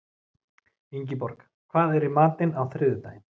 Ingiborg, hvað er í matinn á þriðjudaginn?